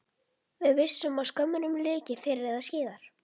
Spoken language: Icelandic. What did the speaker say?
Við vissum að skömmunum lyki fyrr eða síðar.